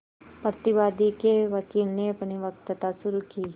प्रतिवादी के वकील ने अपनी वक्तृता शुरु की